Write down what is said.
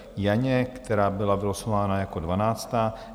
Janě, která byla vylosována jako dvanáctá.